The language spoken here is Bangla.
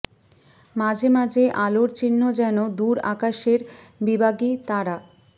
মাঝে মাঝে আলোর চিহ্ন যেন দূর আকাশের বিবাগী তারা